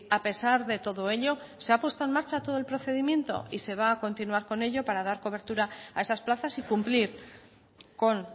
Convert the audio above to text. a pesar de todo ello se ha puesto en marcha todo el procedimiento y se va a continuar con ello para dar cobertura a esas plazas y cumplir con